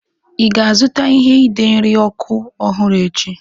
Ị ga-azụta ihe ide nri ọkụ ọhụrụ echi?